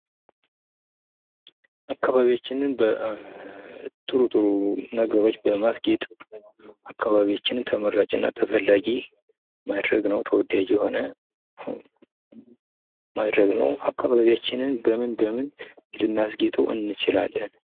አካባቢያችን በጥሩ ጥሩ ነገሮች በማስጌጥ አካባቢያችንን ተመራጭ እና ተፈላጊ ማድረግ ነው ፣ ተወዳጅ የሆነ ማድረግ ነው ። አካባቢያችንን በምን በምን ልናስጌጣው እንችላለን ?